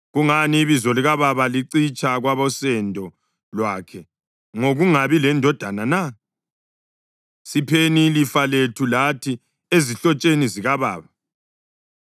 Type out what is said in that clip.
Kungani ibizo likababa licitsha kwabosendo lwakhe ngokungabi lendodana na? Sipheni ilifa lethu lathi ezihlotsheni zikababa.”